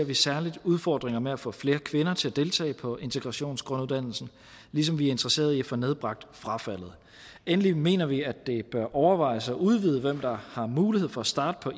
vi særligt udfordringer med at få flere kvinder til at deltage på integrationsgrunduddannelsen ligesom vi er interesserede i at få nedbragt frafaldet endelig mener vi at det bør overvejes at udvide hvem der har mulighed for at starte på